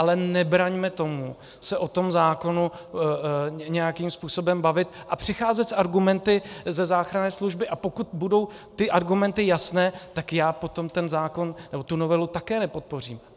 Ale nebraňme tomu se o tom zákonu nějakým způsobem bavit a přicházet s argumenty ze záchranné služby, a pokud budou ty argumenty jasné, tak já potom ten zákon nebo tu novelu také nepodpořím.